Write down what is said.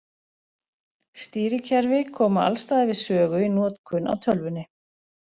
Stýrikerfi koma alls staðar við sögu í notkun á tölvunni.